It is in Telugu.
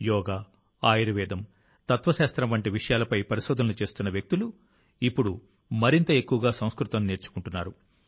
యోగా ఆయుర్వేదం తత్వశాస్త్రం వంటి విషయాలపై పరిశోధనలు చేస్తున్న వ్యక్తులు ఇప్పుడు మరింత ఎక్కువగా సంస్కృతం నేర్చుకుంటున్నారు